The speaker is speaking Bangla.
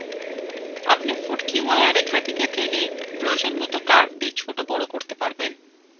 আপনি ফুটকিওয়ালা রেকাহটিকে টেনে প্রয়োজনমত curvethe ছোট বড় করতে পারবেন